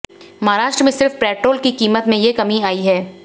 महाराष्ट्र में सिर्फ पेट्रोल की कीमत में ये कमी आई है